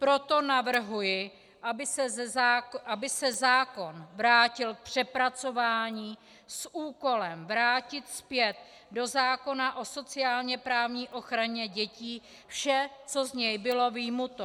Proto navrhuji, aby se zákon vrátil k přepracování s úkolem vrátit zpět do zákona o sociálně-právní ochraně dětí vše, co z něj bylo vyjmuto.